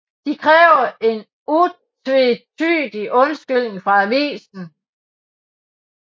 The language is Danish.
De kræver en utvetydig undskyldning fra avisen